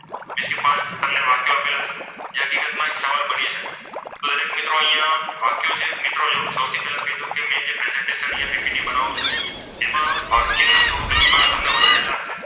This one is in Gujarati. પાંચ વાક્યો આપેલા છે. જે હકીકતમાં એક સવાલ બની શકે છે. જે હકીકતમાં એક સવાલ બની શકે છે તો દરેક મિત્રો અહીંયા વાક્યો જે છે તે મિત્રો જો સૌથી પહેલા કીધું કે મેં જે પ્રેઝન્ટેશન presentationppt અહીંયા બનાવું છું તેમાં વાક્ય લખાણ થોડુંક વધારે લાગશે.